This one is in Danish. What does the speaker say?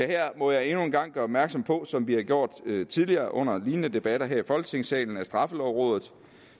her må jeg endnu en gang gøre opmærksom på som vi har gjort tidligere under lignende debatter her i folketingssalen at straffelovrådet